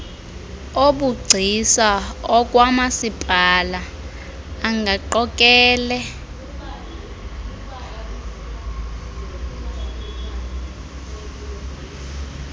obugcisa okwamasipala angaqokele